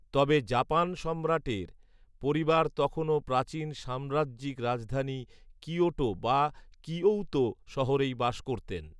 তবে জাপান সম্রাটের পরিবার তখনও প্রাচীন সাম্রাজ্যিক রাজধানী কিয়োটো বা কিয়ৌতো শহরেই বাস করতেন।